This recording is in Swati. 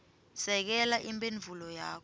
sekela imphendvulo yakho